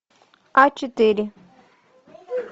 а четыре